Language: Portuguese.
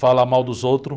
Falar mal dos outros.